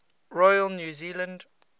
royal new zealand